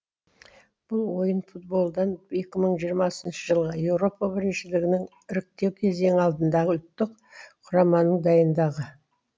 бұл ойын футболдан екі мың жиырмасыншы жылғы еуропа біріншілігінің іріктеу кезеңі алдындағы ұлттық құраманың дайындығы